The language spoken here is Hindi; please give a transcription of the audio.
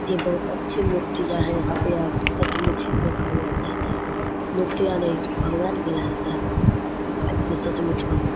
ये बहुत अच्छी मूर्तियां है। यहाँ पे आप सचमुच इसमें भगवान है। मूर्तियां नही इसको भगवान बुलाया जाता है। और इसमें सचमुच भगवान --